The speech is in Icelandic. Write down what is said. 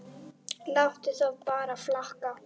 Láttu það bara flakka!